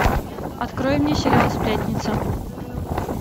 открой мне сериал сплетница